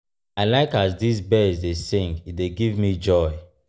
i like as dese birds dey sing e dey give me joy.